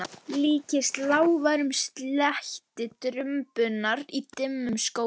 Líkist lágværum slætti trumbunnar í dimmum skógi.